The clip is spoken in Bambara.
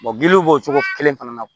giliw b'o cogo kelen fana na